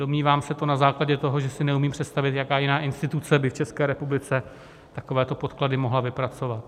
Domnívám se to na základě toho, že si neumím představit, jaká jiná instituce by v České republice takovéto podklady mohla vypracovat.